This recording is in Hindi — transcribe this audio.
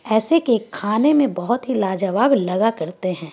ऐसे केक खाने में बहुत ही लाजवाब लगा करते हैं।